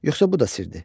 Yoxsa bu da sirdir?